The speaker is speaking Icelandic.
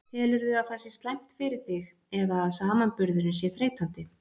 Telurðu að það sé slæmt fyrir þig eða að samanburðurinn sé þreytandi?